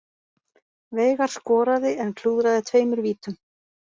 Veigar skoraði en klúðraði tveimur vítum